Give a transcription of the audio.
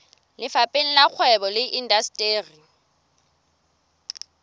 lefapheng la kgwebo le indasteri